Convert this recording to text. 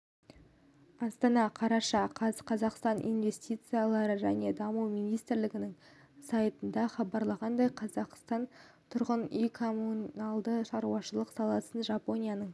астана қараша қаз қазақстан инвестициялар және даму министрлігінің сайтында хабарлағандай қазақстан тұрғын үй-коммуналдық шаруашылық саласында жапонияның